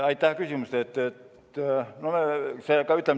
Aitäh küsimuse eest!